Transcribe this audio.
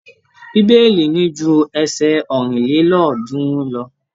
Bíbélì ní ju ẹsẹ ọ̀rìnlélọ́ọ̀ọ́dúnrún lọ.